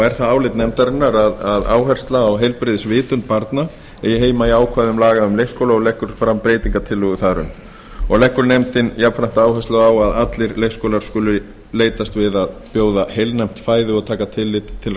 er það álit nefndarinnar að áhersla á heilbrigðisvitund barna eigi heima í ákvæðum laga um leikskóla og leggur fram breytingartillögu þar um leggur nefndin jafnframt áherslu á að allir leikskólar skuli leitast við að bjóða heilnæmt fæði og taka tillit til